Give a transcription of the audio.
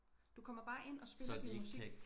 Du kommer bare ind og spiller din musik